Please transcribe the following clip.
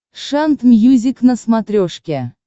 шант мьюзик на смотрешке